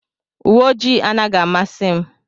uwe ojii anaghị amasị m.